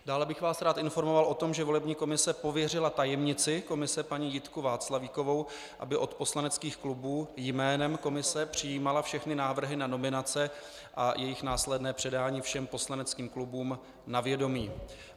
Dále bych vás rád informoval o tom, že volební komise pověřila tajemnici komise paní Jitku Václavíkovou, aby od poslaneckých klubů jménem komise přijímala všechny návrhy na nominace a jejich následné předání všem poslaneckým klubům na vědomí.